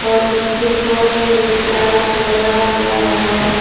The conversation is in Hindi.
और नीचे फर्श पे टास लगा हुआ है।